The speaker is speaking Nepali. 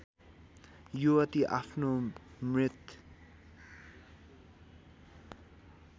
युवती आफ्नो मृत